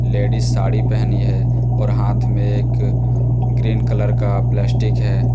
Ladies sari पहनी है और हाथ में एक ग्रीन कलर का प्लास्टिक है।